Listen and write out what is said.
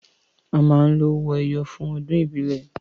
A máa ń lo owó ẹyọ fún ọdún ìbílẹ̀